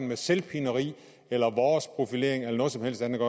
med selvpineri vores profilering eller noget som helst andet